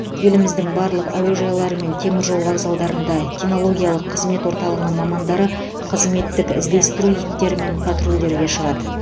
еліміздің барлық әуежайлары мен теміржол вокзалдарында кинологиялық қызмет орталығының мамандары қызметтік іздестіру иттерімен патрульдеуге шығады